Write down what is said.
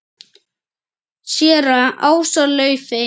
Séra Ása Laufey.